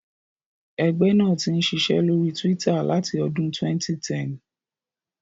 Ẹgbẹ́ náà ti ń ṣiṣẹ́ lórí Twitter láti ọdún 2010.